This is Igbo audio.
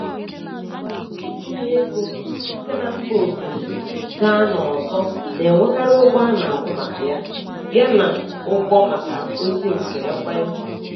Ịkwụnye ego site na mba ofesi gaa n'ọzọ na-enwekarị ụgwọ a na-akwụ maka ya, ya na ụgwọ maka ozị nke ekwentị.